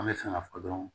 An bɛ fɛ ka fɔ dɔrɔn